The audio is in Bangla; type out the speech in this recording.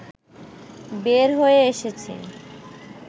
বের হয়ে এসেছি